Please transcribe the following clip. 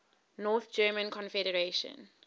north german confederation